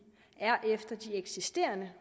er efter de eksisterende